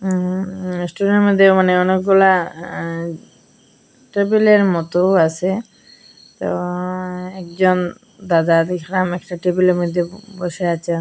উঁ রেস্টুরেন্ট মধ্যে মানে অনেকগুলা আঁ টেবিলের মতোও আসে তো একজন দাদা দেখলাম একটা টেবিলের মইধ্যে বসে আছেন।